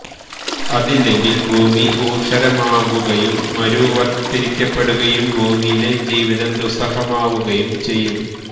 അതില്ലെങ്കില് ഭൂമി ഊഷരമാകുകയും മരുവത്കരിക്കപ്പെടുകയും ഭൂമിയിലെ ജീവിതം ദുസ്സഹമാകുകയും ചെയ്യും